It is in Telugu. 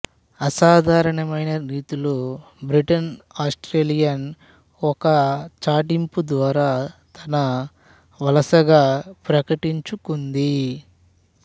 అసాధారణమైన రీతిలో బ్రిటన్ ఆస్ట్రేలియాను ఒక చాటింపు ద్వారా తన వలసగ ప్రకటించుకుంది